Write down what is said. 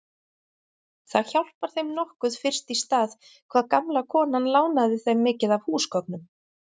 Það hjálpar þeim nokkuð fyrst í stað hvað gamla konan lánaði þeim mikið af húsgögnum.